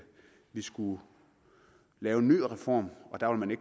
skulle lave en ny reform og der vil